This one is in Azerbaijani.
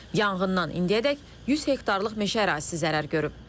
Yanğından indiyədək 100 hektarlıq meşə ərazisi zərər görüb.